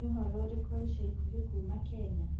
niũhoro ũrĩkũ wa ĩca ĩkũhĩ kũma kenya